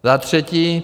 Za třetí.